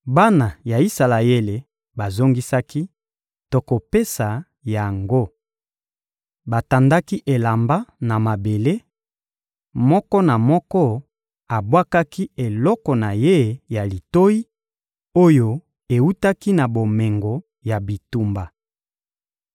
Bana ya Isalaele bazongisaki: — Tokopesa yango. Batandaki elamba na mabele, moko na moko abwakaki eloko na ye ya litoyi, oyo ewutaki na bomengo ya bitumba.